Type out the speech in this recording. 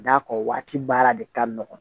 D'a ka waati baara de ka nɔgɔn